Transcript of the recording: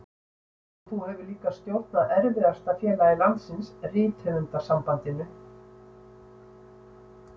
Og þú hefur líka stjórnað erfiðasta félagi landsins, Rithöfundasambandinu.